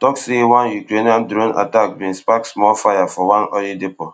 tok say one ukrainian drone attack bin spark spark small fire for one oil depot